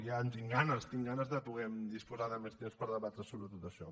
ja en tinc ganes tinc ganes de poder disposar de més temps per poder debatre sobre tot això